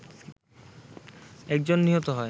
একজন নিহত হয়